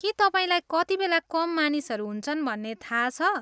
के तपाईँलाई कतिबेला कम मानिसहरू हुन्छन् भन्ने थाहा छ?